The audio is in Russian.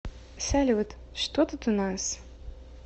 салют что тут у нас